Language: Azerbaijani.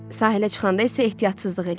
Sahilə çıxanda isə ehtiyatsızlıq eləyib.